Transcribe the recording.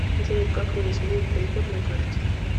джой как мне сменить пин код на карте